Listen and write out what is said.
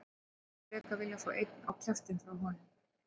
Ég hefði frekar viljað fá einn á kjaftinn frá honum.